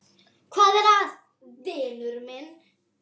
Hvað er að, vinur minn?